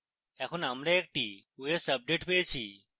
এখন আমরা একটি os আপডেট পেয়েছি